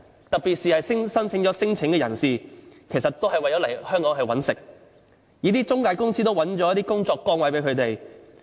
特別是提出了聲請的人士，很多都是為了來香港謀生，一些中介公司亦安排了一些工作崗位給他們。